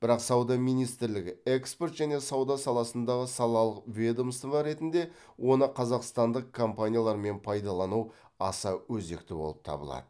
бірақ сауда министрлігі экспорт және сауда саласындағы салалық ведомство ретінде оны қазақстандық компаниялармен пайдалану аса өзекті болып табылады